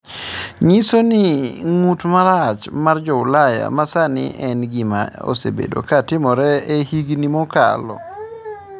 Onyiso ni ng’ut ma rachar mar Jo-Ulaya ma sani en gima osebedo ka timore e higni mokalo.